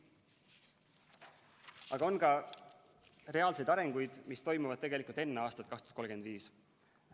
Aga on ka reaalseid arengusuundi, mis toimuvad tegelikult enne aastat 2035.